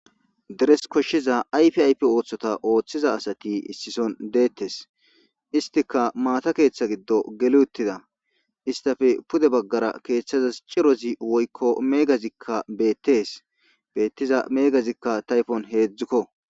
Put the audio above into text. deres koshshiza ayfi aype ooththota ooththiza asati issison deettes istika maata keeththa giddo geli uttida istafe pude baggara keeththazas cirozi woykko meegazikka beettes beettiza meegazikka tayfon heedzdzukko